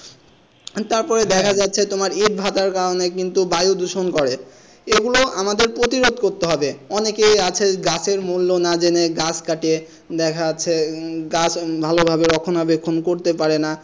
তারপরে দেখা যাচ্ছে তোমার ইট ভাটার কারণে কিন্তু বায়ু দূষণ করে এগুলো আমাদের প্রতিবাদ করতে হবে অনেকে আছে গাছের মূল্য না জেনে গাছ কাটে দেখা যাচ্ছে উম গাছ ভালোভাবে রক্ষণাবেক্ষণও করতে পারেনা,